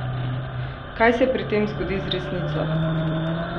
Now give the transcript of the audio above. Kaj se pri tem zgodi z resnico?